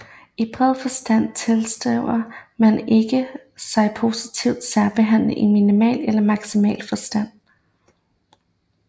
I bred forstand tilskriver man sig ikke positiv særbehandling i minimal eller maximal forstand